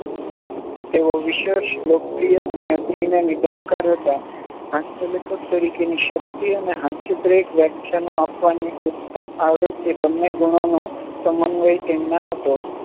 તેઓ વિશેષ લોકપ્રિય અને અગ્રણી નિબંધકાર હતા. હાસ્યલેખક તરીકેની શક્તિ અને હાસ્યપ્રેરક વ્યાખ્યાનો આપવાની ઉત્તમ આવડત એ બંને ગુણોનો સમન્વય તેમનામાં હતો.